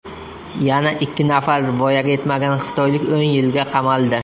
Yana ikki nafar voyaga yetmagan xitoylik o‘n yilga qamaldi.